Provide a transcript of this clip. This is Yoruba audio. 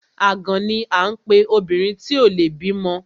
Àgàn ni à ń pe obìnrin tí ò le bímọ.